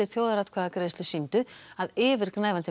þjóðaratkvæðagreiðslu sýndu að yfirgnæfandi